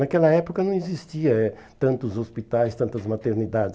Naquela época não existia eh tantos hospitais, tantas maternidades.